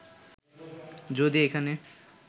যদি এখানে